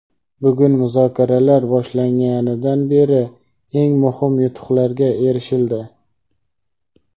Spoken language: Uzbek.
Bugun muzokaralar boshlanganidan beri eng muhim yutuqlarga erishildi.